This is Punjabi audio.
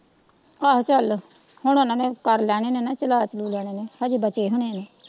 ਆਹੋ ਚਲ ਹੁਣ ਓਹਨਾ ਨੇ ਕਰਲੈਣੇ ਹੋਣੇ ਨਾ ਚਲਾ ਚਲੁ ਲੈਣੇ ਨੇ ਹਜੇ ਬਚੇ ਹੋਣੇ ਨੇ।